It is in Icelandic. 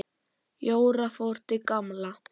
Jóra fór til Gamla.